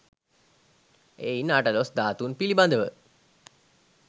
එයින් අටළොස් ධාතුන් පිළිබඳව